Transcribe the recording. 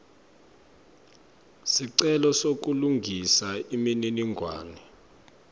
sicelo sekulungisa imininingwane